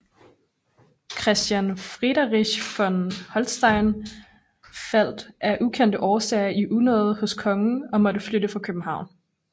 Christian Friderich von Holstein faldt af ukendte årsager i unåde hos kongen og måtte flytte fra København